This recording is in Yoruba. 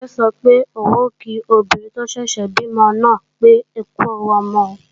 Kíkẹ́ sọ pé òun kí obìnrin tó ṣẹ̀ṣẹ̀ bímọ náà pé ókú ẹwu ọmọ